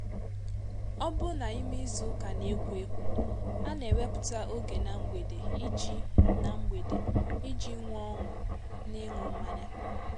ọ buna ime izu uka na ekwo ekwo ana eweputa oge na mgbede iji na mgbede iji nwe ońụ n'ịńụ mmanya.